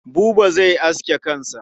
Buba zai aske kansa.